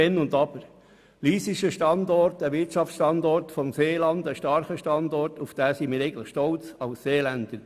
Lyss ist ein starker Wirtschaftsstandort im Seeland, auf den wir als Seeländer stolz sind, ich ganz besonders.